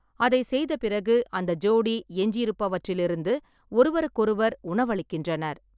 அதைச் செய்த பிறகு, அந்த ஜோடி எஞ்சியிருப்பவற்றிலிருந்து ஒருவருக்கொருவர் உணவளிக்கின்றனர்.